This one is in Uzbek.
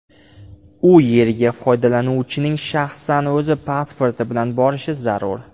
U yerga foydalanuvchining shaxsan o‘zi pasporti bilan borishi zarur.